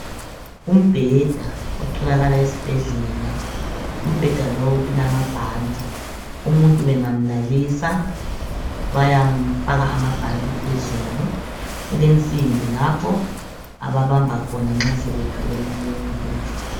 Umbheda otholakala esibhedlela, umbheda lowu ulamabhanti .umuntu bengamlalisa bayamufaka amabhanti phezulu. kule nsimbi lapho ababamba khona nxa sebethwele umuntu.